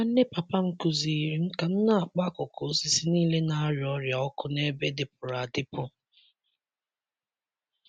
Nwanne papa m kụziiri m ka m na-akpọ akụkụ osisi niile na-arịa ọrịa ọkụ n'ebe dịpụrụ adịpụ.